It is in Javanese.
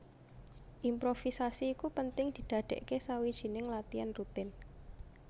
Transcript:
Improvisasi iku penting didadèkké sawijining latian rutin